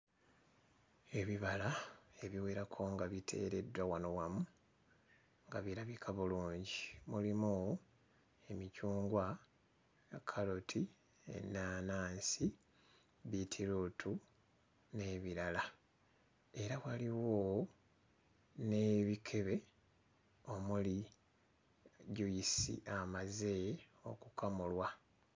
Ebibala ebiwerako nga biteereddwa wano wamu nga birabika bulungi mulimu emicungwa, kkaloti, ennaanansi, bbiitiruutu n'ebirala. Era waliwo n'ebikebe omuli jjuyisi amaze okukamulwa.